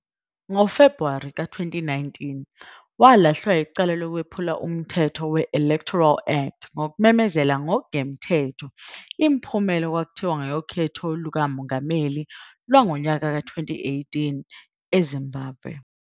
NgoFebhuwari 2019 walahlwa yicala lokwephula umthetho we-Electoral Act ngokumemezela ngokungemthetho imiphumela okwakuthiwa yokhetho lukamongameli lwango-2018 eZimbabwe.